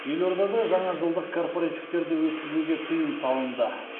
елордада жаңажылдық корпоративтерді өткізуге тыйым салынды